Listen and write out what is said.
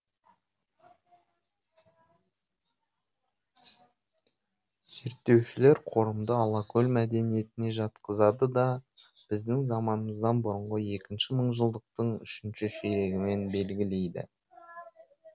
зерттеушілер қорымды алакөл мәдениетіне жатқызады да біздің заманымыздан бұрын екінші мыңжылдықтың үшінші ширегімен белгілейді